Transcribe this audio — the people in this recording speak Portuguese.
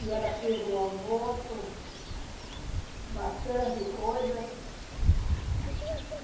E ela fez o almoço, bastante coisa.